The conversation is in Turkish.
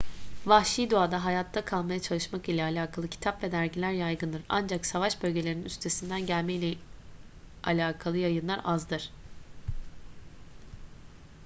vahşi doğada hayatta kalmaya çalışmak ile alakalı kitap ve dergiler yaygındır ancak savaş bölgelerinin üstesinden gelme ile alakalı yayınlar azdır